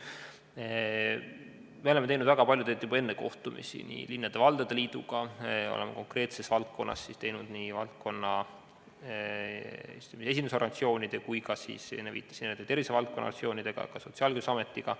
Me oleme korraldanud väga palju kohtumisi Eesti Linnade ja Valdade Liiduga, oleme teinud koostööd konkreetse valdkonna esindusorganisatsioonidega kui ka tervisevaldkonna organisatsioonidega, samuti Sotsiaalkindlustusametiga.